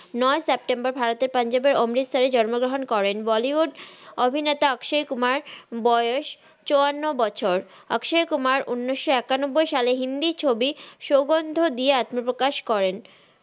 নয় সেপ্টেম্বর ভারতের পাঞ্জাবে অম্রিতসারে জন্মগ্রাহান করেন বলিউড অভিনেতা স্কসাই কুমার বয়েস চুয়ান্ন বছর আক্সাই কুমার উনিস একান্ন সালে হিন্দি ছবি সউগন্দ দিয়ে আত্মা প্রাকাশ করেন